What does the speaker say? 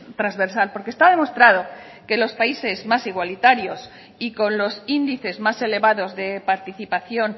transversal porque está demostrado que los países más igualitarios y con los índices más elevados de participación